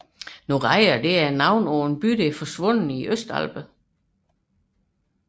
Noreia er navnet på en forsvunden by i Østalperne